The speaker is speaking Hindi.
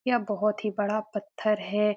यह बोहत ही बड़ा पत्थर है।